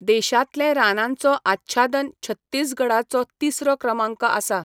देशांतलें रानांचो आच्छादन छत्तीसगडाचो तिसरो क्रमांक आसा.